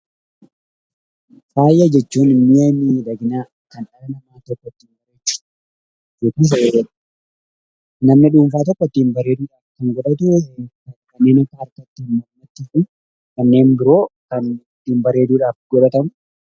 Faaya jechuun immoo waan miidhaginaa yookiin fayyadamu, nama dhuunfaa tokko ittiin bareeduuf kanneen biroo ittiin bareeduudhaaf godhatanidha.